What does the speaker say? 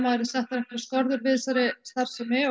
það yrðu settar einhverjar skorður gegn þessari starfsemi